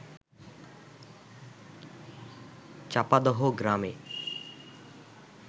চাপাদহ গ্রামে